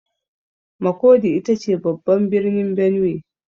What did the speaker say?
Makurdi ita ce babban birnin Benue.